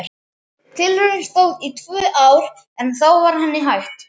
Tilraunin stóð í tvö ár en þá var henni hætt.